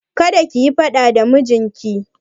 Kada kiyi faɗa da mijinki!